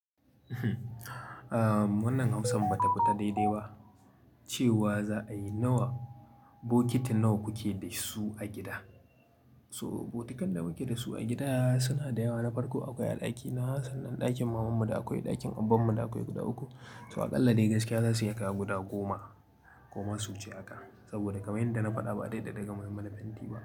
Wannan amsan ba ta fita daidai ba cewa za a yi nawa, bokiti nawa kuke da su a gida. So bokitun da muke da su a gida suna da yawa na farko akwai a ɗakina sannan ɗakin mamanmu da akwai ɗakin abbanmu da akwai guda uku. To aƙalla dai gaskiya zasu iya kaiwa guda goma, koma su wuce haka saboda kamar yanda na faɗa ba a dade daga mu mana fenti ba.